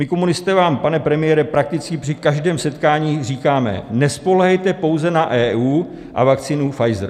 My komunisté vám, pane premiére, prakticky při každém setkání říkáme: Nespoléhejte pouze na EU a vakcínu Pfizer.